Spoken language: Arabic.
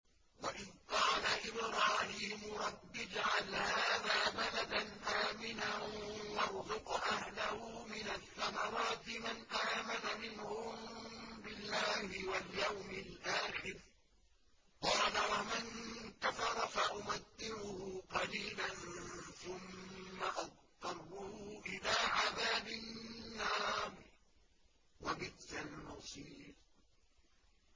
وَإِذْ قَالَ إِبْرَاهِيمُ رَبِّ اجْعَلْ هَٰذَا بَلَدًا آمِنًا وَارْزُقْ أَهْلَهُ مِنَ الثَّمَرَاتِ مَنْ آمَنَ مِنْهُم بِاللَّهِ وَالْيَوْمِ الْآخِرِ ۖ قَالَ وَمَن كَفَرَ فَأُمَتِّعُهُ قَلِيلًا ثُمَّ أَضْطَرُّهُ إِلَىٰ عَذَابِ النَّارِ ۖ وَبِئْسَ الْمَصِيرُ